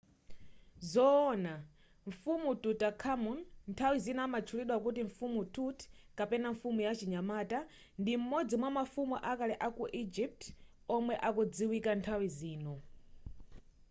zoona! mfumu tutankhamun nthawi zina amatchulidwa kuti 'mfumu tut'' kapena ” mfumu ya chinyamata'” ndi m'modzi mwa mafumu akale aku egypt omwe akudziwika nthawi zino